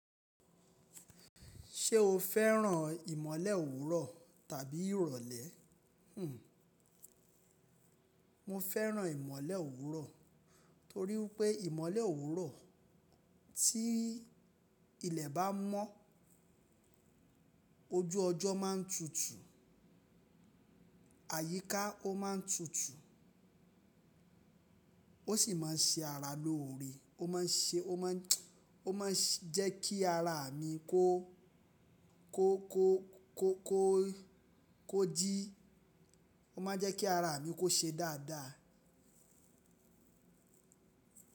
Ṣé o fẹ́ràn ìmọ̀le òwúrọ̀ tàbí ìrọ̀lẹ́? Hmm, mo fẹ́ràn ìmọ̀le òwúrọ̀ torí pé ìmọ̀le òwúrọ̀ tí ilẹ̀ bá mọ́, ojú ọjọ́ má ń tutù, àyíká ó ma ń tutù, ó sì má ń ṣe ara lóore, ó ma ń ṣe ó ma ń ó ma ń jẹ́ kí ara mi kó kó kó kó kó kó jí ó ma ń jẹ́ kí ara mi kó ṣe dáadáa.